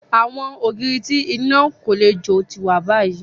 Awọn ogiri ti ina ko le jo ti wa bayi